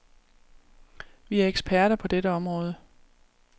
Vi er eksperter på dette område.